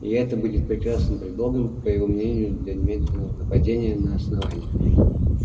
и это будет прекрасным предлогом по его мнению для немедленного нападения на основание